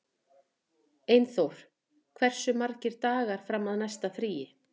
Einþór, hversu margir dagar fram að næsta fríi?